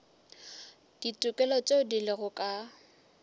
ditokelo tšeo di lego ka